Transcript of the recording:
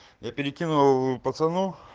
я перекину пацанов